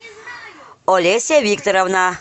олеся викторовна